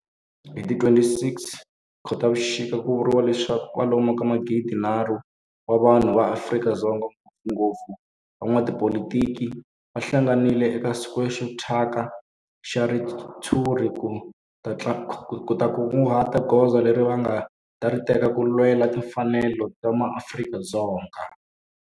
Hi ti 26 Khotavuxika ku vuriwa leswaku kwalomu ka magidi-nharhu wa vanhu va Afrika-Dzonga, ngopfungopfu van'watipolitiki va hlanganile eka square xo thyaka xa ritshuri ku ta kunguhata hi goza leri va nga ta ri teka ku lwela timfanelo ta maAfrika-Dzonga.